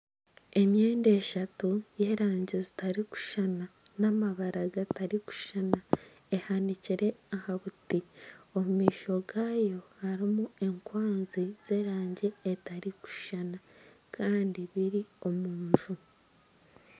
Emyenda eshatu y'erangi zitakushushana n'amabara gatarikushushana ehanikire aha buti omu maisho gaayo harimu enkwanzi z'erangi etarikushushana kandi biri omu nju